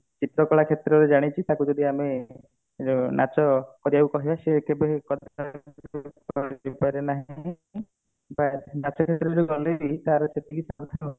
ଚିତ୍ର କଳା କ୍ଷେତ୍ର ରେ ଜାଣିଛି ତାକୁ ଯଦି ଆମେ ଉଁ ନାଚ କରିବାକୁ କହିବା ସେ କେବେ ନାହିଁ ନାଚ କ୍ଷେତ୍ରରେ ଜାଣିଛି ତାର